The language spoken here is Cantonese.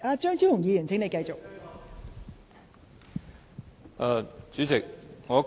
張超雄議員，請繼續發言。